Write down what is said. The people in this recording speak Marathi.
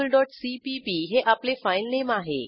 virtualसीपीपी हे आपले फाईलनेम आहे